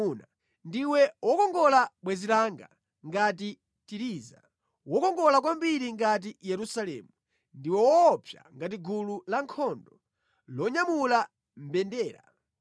Ndiwe wokongola, bwenzi langa, ngati Tiriza, wokongola kwambiri ngati Yerusalemu, ndiwe woopsa ngati gulu lankhondo lonyamula mbendera.